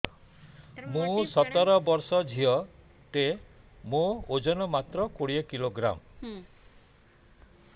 ମୁଁ ସତର ବର୍ଷ ଝିଅ ଟେ ମୋର ଓଜନ ମାତ୍ର କୋଡ଼ିଏ କିଲୋଗ୍ରାମ